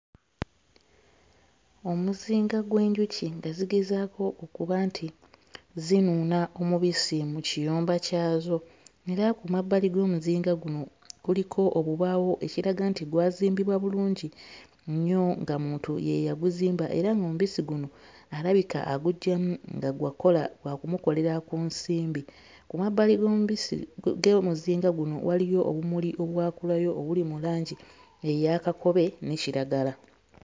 Omuzinga gw'enjuki nga zigezaako okuba nti zinuuna omubisi mu kiyumba kyazo era ku mabbali g'omuzinga guno kuliko obubaawo ekiraga nti gwazimbibwa bulungi nnyo era ng'omuntu ye yaguzimba era ng'omubisi guno alabika aguggyamu nga gwa kkola gwakumukolera ku nsimbi. Ku mabbali g'omubisi ge muzinga guno waliwo obumuli obwakulayo obuli mu langi eya kakobe ne kiragala.